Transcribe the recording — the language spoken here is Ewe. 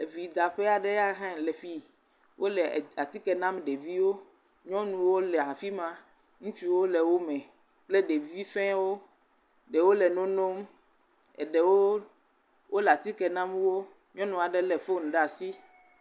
Evidaƒe aɖe ya hã le fi.wole atike nam ɖeviwo, nyɔnuwo le afi ma, ŋutsuwo le wo me kple ɖevi fɛwo, ɖewo le no nɔm, eɖewo wole atike nam wo. Nyɔnu aɖe lé fon ɖe asi.